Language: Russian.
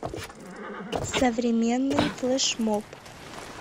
современный флешмоб